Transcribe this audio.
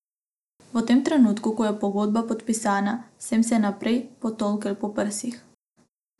V tem trenutku, ko je pogodba podpisana, sem se najprej potolkel po prsih.